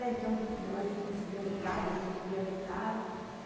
Então, meu marido conseguia metade, eu conseguia metade.